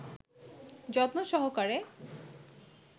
যত্ন সহকারে